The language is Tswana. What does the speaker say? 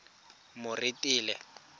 moretele